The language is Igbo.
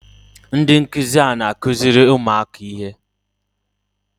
Ndị nkụzi a na-akụziri ụmụaka ihe?